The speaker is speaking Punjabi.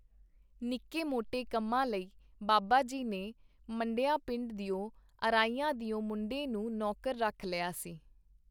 ਨਿੱਕੇ-ਮੋਟੇ ਕੰਮਾਂ ਲਈ ਬਾਬਾ ਜੀ ਨੇ ਮੰਡੀਆਂ ਪਿੰਡ ਦਿਓ ਅਰਾਈਆਂ ਦਿਓ ਮੁੰਡੇ ਨੂੰ ਨੌਕਰ ਰੱਖ ਲਿਆ ਸੀ.